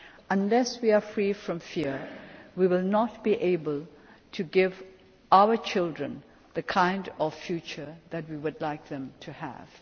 society. Unless we are free from fear, we will not be able to give our children the kind of future that we would like them